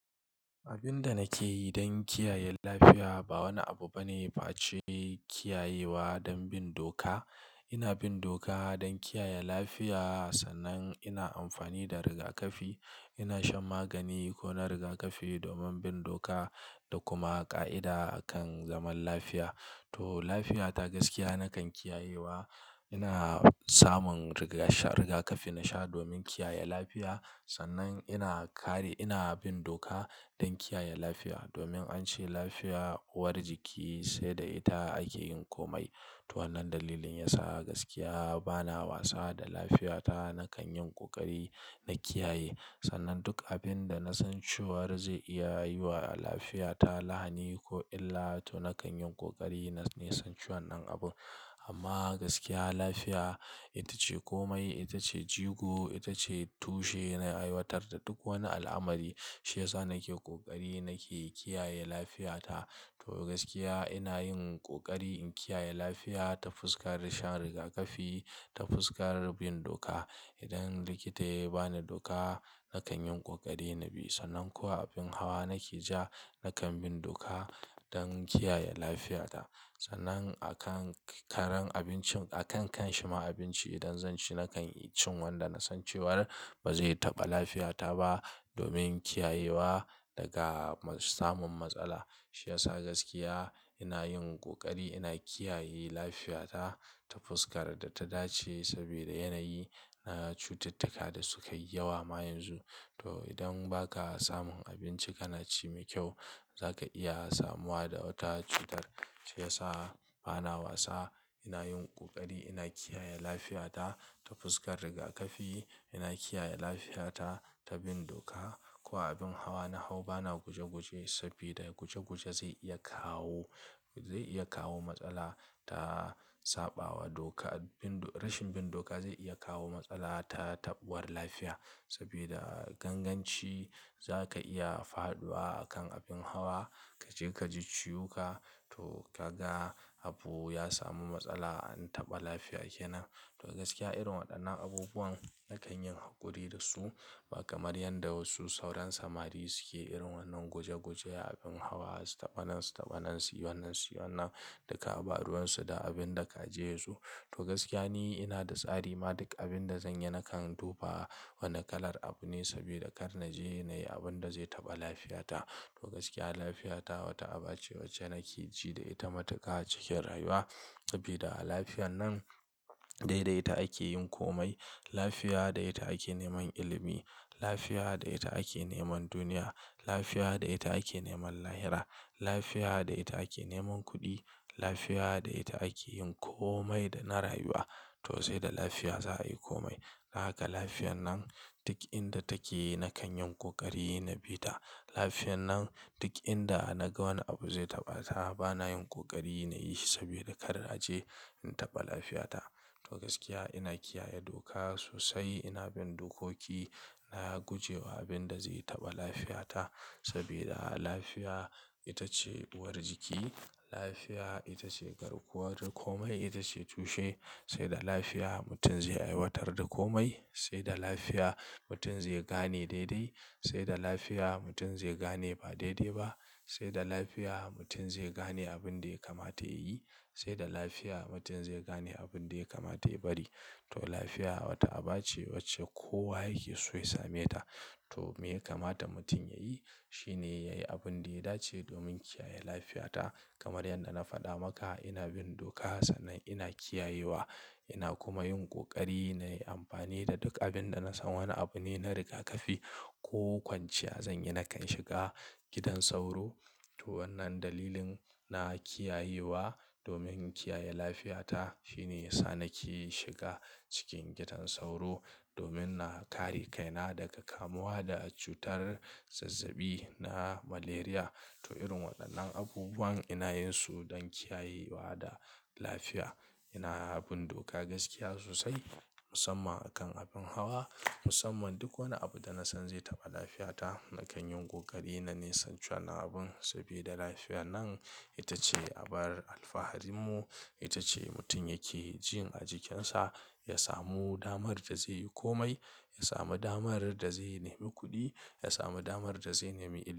Abin da nake yi don kiyaye lafiya ba wani abu bane face kiyayewa don bin doka. Ina bin doka don kiyaye lafiya, sannan ina amfani da rigakafi. Ina shan magani ko na rigakafi domin bin doka da kuma ƙa'ida kan zaman lafiya. To, lafiyata gaskiya nakan kiyayewa. Ina samun riga-- rigakafi na sha domin kiyaye lafiya. Sannan ina kare, ina bin doka don kiyaye lafiya domin an ce lafiya uwar jiki sai da ita ake yin komai. To wannan dalilin yasa gaskiya bana wasa da lafiyata. Nakan yin ƙoƙari na kiyaye. Sannan duk abin da na san cewar zai iya yi wa lafiyata lahani ko illa to nakan yin ƙoƙari na nisance wannan abun. Amma gaskiya lafiya ita ce komai, ita ce jigo, ita ce tushe na aiwatar da duk wani al'amari. Shi yasa nake ƙoƙari nake kiyaye lafiyata. To gaskiya ina yin ƙoƙari in kiyaye lafiya ta fuskar shan rigakafi, ta fuskar bin doka. Idan likita ya ba ni doka, nakan yin ƙoƙari na bi. Sannan kuwa abin hawa nake ja, nakan bin doka don kiyaye lafiyata. Sannan a kan karan abincin, a kan kanshi ma abinci idan zan ci nakan ci wanda na san cewar ba zai taɓa lafiyata ba domin kiyayewa daga samun matsala. Shi yasa gaskiya ina yin ƙoƙari ina kiyaye lafiyata ta fuskar da ta dace saboda yanayi na cututtuka da sukayi yawa ma yanzu. To idan ba ka samun abinci kana ci mai kyau, za ka iya samuwa da wata cutar. Shi yasa bana wasa, ina yin ƙoƙari ina kiyaye lafiyata ta fuskar rigakafi. Ina kiyaye lafiyata ta bin doka. Ko abin hawa na hau bana guje-guje saboda guje-guje zai iya kawo, zai iya kawo matsala ta saɓawa doka. Bin do-- rashin bin doka zai iya kawo matsala ta taɓuwar lafiya saboda ganganci za ka iya faɗuwa a kan abin hawa, ka je ka ji ciwuka. To ka ga habu ya samu matsala an taɓa lafiya kenan. To gaskiya irin waɗannan abubuwan nakan yi haƙuri da su ba kamar yanda wasu sauran samari suke irin wannan guje-guje abin hawa su taɓa nan, su taɓa nan, su yi wannan, su yi wannan, duka ba ruwansu da abin da ka je su. To gaskiya ni ina da tsari ma duk abin da zanyi nakan duba wane kalar abu ne saboda kar na je nayi abunda zai taɓa lafiyata. To gaskiya lafiya ta wata aba ce wacce nake ji da ita matuƙa cikin rayuwa saboda a lafiyan nan dai dai ta ake yin komai. Lafiya da ita ake neman ilimi, lafiya da ita ake neman duniya, lafiya da ita ake neman lahira, lafiya da ita ake neman kuɗi, lafiya da ita ake yin komai da na rayuwa. To sai da lafiya za a yi komai. A haka lafiyan nan duk inda take nakan yin ƙoƙari na bi ta. Lafiyan nan duk inda naga wani abu zai taɓa ta bana yin ƙoƙari na yi shi saboda kar na je in taɓa lafiyata. To gaskiya ina kiyaye doka sosai, ina bin dokoki na guje wa abin da zai taɓa lafiyata saboda lafiya ita ce uwar jiki. Lafiya ita ce garkuwar komai, ita ce tushe. Sai da lafiya mutum zai aiwatar da komai, sai da lafiya mutum zai gane dai dai, sai da lafiya mutum zai gane ba dai dai ba, sai da lafiya mutum zai gane abin da ya kamata yayi, sai da lafiya mutum zai gane abin da ya kamata ya bari. To lafiya wata aba ce wacce kowa yake so ya same ta. To me ya kamata mutum ya yi shi ne ya yi abin da ya dace domin kiyaye lafiyata. Kamar yadda na faɗa maka ina bin doka sannan ina kiyayewa ina kuma yin ƙoƙari na yi amfani da duk abin da nasan wane abu ne na rigakafi. Ko kwanciya zanyi nakan shiga gidan sauro. To wannan dalilin na kiyayewa domin kiyaye lafiyata shine yasa nake shiga cikin gidan sauro domin na kare kaina daga kamuwa da cutar zazzabi na Malaria. To irin waɗannan abubuwan ina yin su don kiyayewa da lafiya. Ina bin doka gaskiya sosai musamman a kan abin hawa, musamman duk wani abu da nasan zai taɓa lafiyata nakan yin ƙoƙari na nisancewa na abun saboda lafiya nan ita ce abar alfaharin mu. Ita ce mutum yake jin a jikinsa ya samu damar da zai yi komai, ya samu damar da zai nemi kuɗi, ya samu damar da zai nemi ilimi.